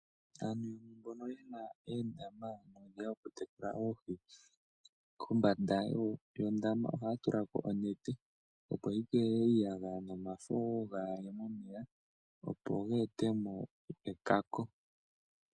Aantu mbono yena oondama dhokutekula oohi, kombanda yondama ohaya tula ko onete , opo yi keeelele iiyagaya nomafo gaa haye momeya opo ga etemo ekako.